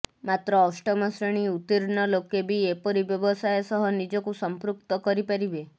ମାତ୍ର ଅଷ୍ଟମ ଶ୍ରେଣୀ ଉତୀର୍ଣ୍ଣ ଲୋକେବି ଏପରି ବ୍ୟବସାୟ ସହ ନିଜକୁ ସମ୍ପୃକ୍ତ କରିପାରିବେ